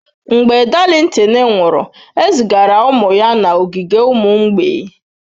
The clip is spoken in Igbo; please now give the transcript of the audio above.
Mgbe Darlington nwụrụ, ezigara ụmụ ya n'ogige ụmụ mgbei.